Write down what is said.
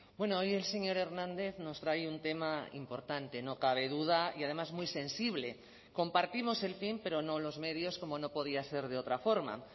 bueno hoy el señor hernández nos trae un tema importante no cabe duda y además muy sensible compartimos el fin pero no los medios como no podía ser de otra forma